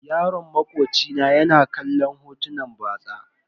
Yaron makoci na ya na kallon hotunan batsa.